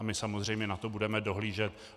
A my samozřejmě na to budeme dohlížet.